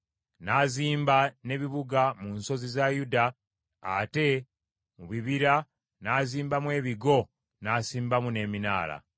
N’azimba n’ebibuga mu nsozi za Yuda, ate mu bibira n’azimbamu ebigo n’asimbamu n’eminaala.